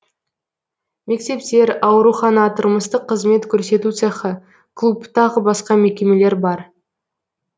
мектептер аурухана тұрмыстық қызмет көрсету цехы клуб тағы басқа мекемелер бар